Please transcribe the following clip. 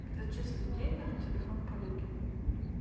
зачислить деньги на телефон коллеги